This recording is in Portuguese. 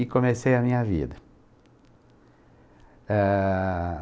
e comecei a minha vida. Eh...